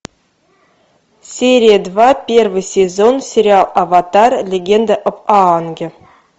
серия два первый сезон сериал аватар легенда об аанге